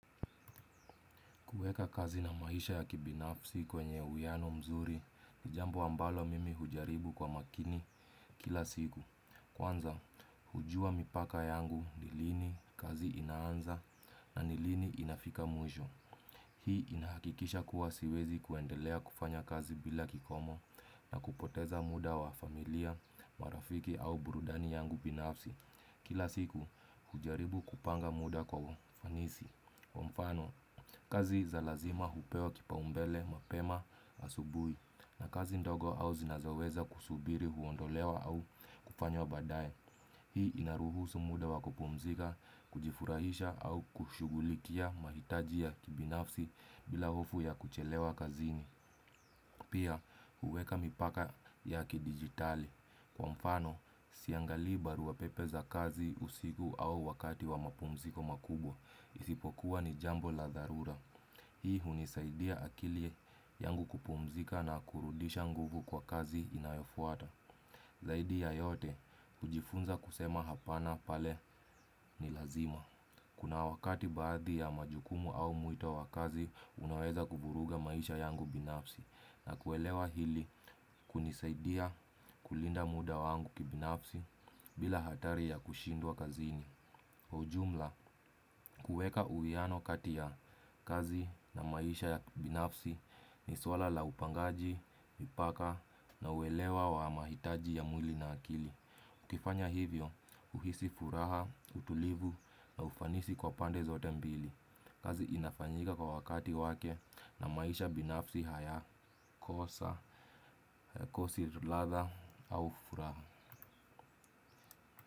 Kuweka kazi na maisha ya kibinafsi kwenye uiano mzuri, ni jambo ambalo mimi hujaribu kwa makini kila siku. Kwanza, hujua mipaka yangu, ni lini kazi inaanza na ni lini inafika mwisho. Hii inahakikisha kuwa siwezi kuendelea kufanya kazi bila kikomo na kupoteza muda wa familia, marafiki au burudani yangu binafsi. Kila siku, hujaribu kupanga muda kwa ufanisi. Kwa mfano, kazi za lazima hupewa kipaumbele mapema asubuhi na kazi ndogo au zinazoweza kusubiri huondolewa au kufanywa baadae. Hii inaruhusu muda wakupumzika, kujifurahisha au kushughulikia mahitajia ya kibinafsi bila hofu ya kuchelewa kazini. Pia, huweka mipaka ya kidijitali. Kwa mfano, siangalii barua pepe za kazi usiku au wakati wa mapumziko makubwa. Isipokuwa ni jambo la dharura. Hii hunisaidia akili yangu kupumzika na kurudisha nguvu kwa kazi inayofwata. Zaidi ya yote hujifunza kusema hapana pale ni lazima. Kuna wakati baadhi ya majukumu au mwito wa kazi unaweza kuvuruga maisha yangu binafsi. Na kuelewa hili kunisaidia kulinda muda wangu kibinafsi bila hatari ya kushindwa kazini. Kwa ujumla, kuweka uiano kati ya kazi na maisha ya binafsi ni swala la upangaji, mipaka na uelewa wa mahitaji ya mwili na akili. Ukifanya hivyo huhisi furaha, utulivu na ufanisi kwa pande zote mbili. Kazi inafanyika kwa wakati wake na maisha binafsi hayakosi ladha au furaha.